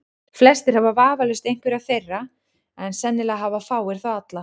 Flestir hafa vafalaust einhverja þeirra, en sennilega hafa fáir þá alla.